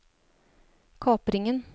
kapringen